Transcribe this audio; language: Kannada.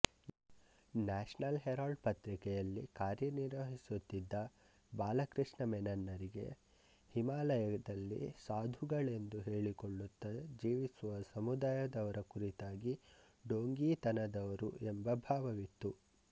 ನ್ಯಾಷನಲ್ ಹೆರಾಲ್ಡ್ ಪತ್ರಿಕೆಯಲ್ಲಿ ಕಾರ್ಯನಿರ್ವಹಿಸುತ್ತಿದ್ದ ಬಾಲಕೃಷ್ಣ ಮೆನನ್ನರಿಗೆ ಹಿಮಾಲಯದಲ್ಲಿ ಸಾಧುಗಳೆಂದು ಹೇಳಿಕೊಳ್ಳುತ್ತಾ ಜೀವಿಸುವ ಸಮುದಾಯದವರ ಕುರಿತಾಗಿ ಡೋಂಗೀತನದವರು ಎಂಬ ಭಾವವಿತ್ತು